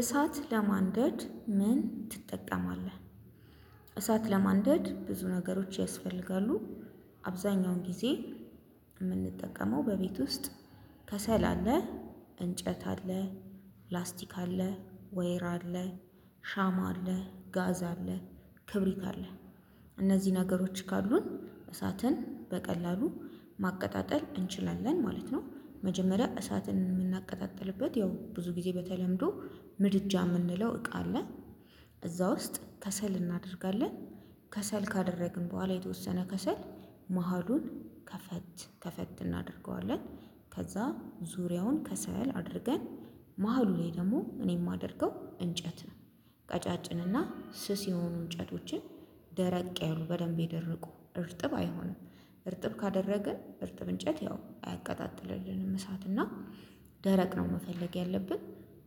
እሳት ለማንደድ ምን ትጠቀማለህ? እሳት ለማንደድ ብዙ ነገሮች ያስፈልጋሉ። አብዛኛውን ጊዜ ምንጠቀመው በቤት ውስጥ ከሰል አለ። እንጨት አለ ፕላስቲክ አለ ወይራ አለ። ሻማ አለ ጋዝ አለ ክብሪት አለ። እነዚ ነገሮች ካሉን እሳትን በቀላሉ ማቀጣጠል እንችላለን ማለት ነው። መጀመሪያ እሳትን ምናቀጣጥልበት ያው ብዙ ጊዜ በተለምዶ ምድጃ ምንለው እቃ አለ። እዛ ውስጥ ከሰል እናደርጋለን ከሰል ካደረግን በኋላ የተወሰነ ከሰል መሃሉን ከፈት ከፈት እናደርገዋለን። ከዛ ዙሪያውን ከሰል አድርገን መሃሉ ለይ ደሞ እኔ ማደርገው እንጨት ነው። ቀጫጭንና ስስ የሆኑ እንጨቶችን ደረቅ ያሉ በደንብ የደረቁ እርጥብ አይሆንም። እርጥብ ካደረግን እርጥብ እንጨት ያው አያቀጣጥልልንም እሳት እና ደረቅ ነው መፈለግ ያለብን።